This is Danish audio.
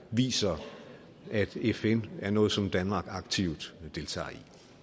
viser at fn er noget som danmark aktivt deltager